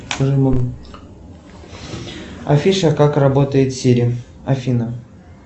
афиша как работает сири афина